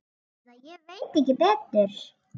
Eða ég veit ekki betur.